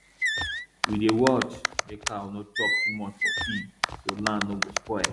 we dey watch make cow nor chop too much for field so land nor go spoil